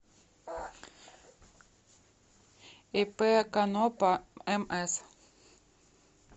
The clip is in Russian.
ип конопа мс